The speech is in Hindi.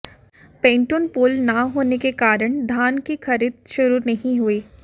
पैंटून पुल न होने के कारण धान की खरीद शुरू नहीं हुई